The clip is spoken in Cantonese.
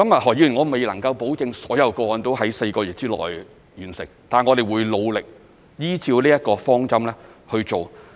何議員，我未能保證所有個案都能在4個月內完成，但我們會努力依照這個方針去做。